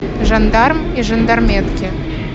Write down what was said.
жандарм и жандарметки